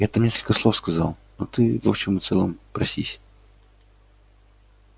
я там несколько слов сказал но ты в общем и целом просись